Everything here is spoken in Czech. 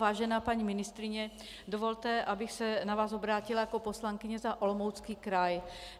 Vážená paní ministryně, dovolte, abych se na vás obrátila jako poslankyně za Olomoucký kraj.